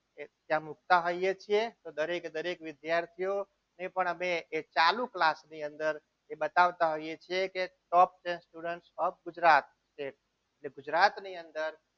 અમે મુકતા હોઈએ છીએ દરેકે દરેક વિદ્યાર્થીઓ એ પણ અમે એ ચાલુ class ની અંદર બતાવતા હોઈએ છીએ કે student ઓફ ગુજરાત જે છે એ ગુજરાતની અંદર